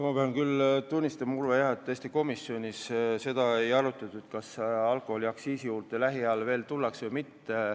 Ma pean jah tunnistama, Urve, et tõesti komisjonis ei arutatud, kas alkoholiaktsiisi juurde tullakse lähiajal tagasi või mitte.